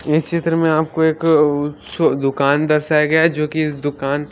इस चित्रों में हमको एक दुकान दर्शाया गया जो की इस दुकान से--